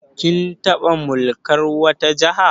Kin taɓa mulkan wata Jiha?